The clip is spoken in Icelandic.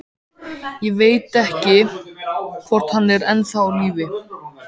Ég veit ekki, hvort hann er ennþá á lífi.